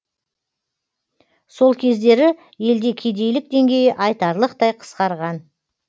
сол кездері елде кедейлік деңгейі айтарлықтай қысқарған